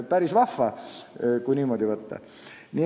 Päris vahva, kui niimoodi võtta.